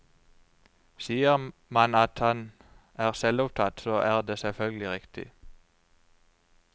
Sier man at han er selvopptatt, så er det selvfølgelig riktig.